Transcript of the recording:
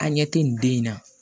An ɲɛ tɛ nin den in na